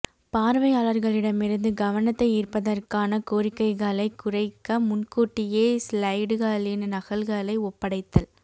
பார்வையாளர்களிடமிருந்து கவனத்தை ஈர்ப்பதற்கான கோரிக்கைகளை குறைக்க முன்கூட்டியே ஸ்லைடுகளின் நகல்களை ஒப்படைத்தல்